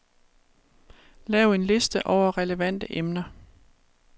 Lav en liste over relevante emner.